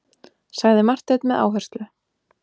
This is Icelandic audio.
sagði Marteinn með áherslu.